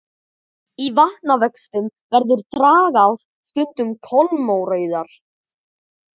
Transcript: Í vatnavöxtum verða dragár stundum kolmórauðar.